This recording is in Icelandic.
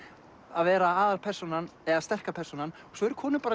að vera aðalpersónan eða sterka persónan svo eru konur